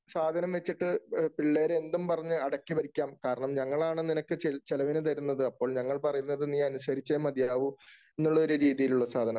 സാധനം വച്ചിട്ട് പിള്ളേരെ എന്തും പറഞ്ഞു അടക്കി ഭരിക്കാം. കാരണം ഞങ്ങളാണ് നിനക്കു ചെല് ചെലവിന് തരുന്നത്. അപ്പോൾ ഞങ്ങൾ പറയുന്നത് നീയനുസരിച്ചേ മതിയാവൂ എന്നുള്ള രീതിയിലുള്ള സാധനം.